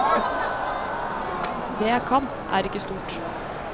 Det jeg kan, er ikke stort.